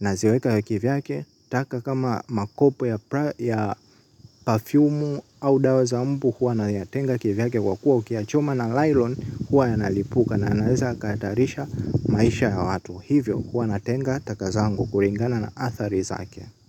naziweka kivyake. Taka kama makopo ya pafyumu au dawa za mbu huwa nayatenga kivyake kwa kuwa ukiyachoma na nylon huwa yanalipuka na yanaweza yakatarisha maisha ya watu, hivyo huwa natenga taka zangu kuringana na athari zake.